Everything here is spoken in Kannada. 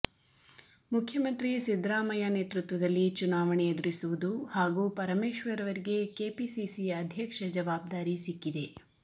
ಮುಖ್ಯಮಂತ್ರಿ ಸಿದ್ದರಾಮಯ್ಯ ನೇತೃತ್ವದಲ್ಲಿ ಚುನಾವಣೆ ಎದುರಿಸುವುದು ಹಾಗೂ ಪರಮೇಶ್ವರ್ ಅವರಿಗೆ ಕೆಪಿಸಿಸಿ ಅಧ್ಯಕ್ಷ ಜವಾಬ್ದಾರಿ ಸಿಕ್ಕಿದೆ